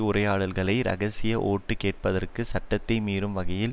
உரையாடல்களை இரகசியமாக ஓட்டு கேட்பதற்கு சட்டத்தை மீறும் வகையில்